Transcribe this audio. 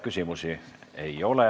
Küsimusi ei ole.